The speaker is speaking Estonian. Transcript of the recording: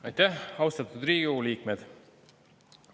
Aitäh, austatud Riigikogu liikmed!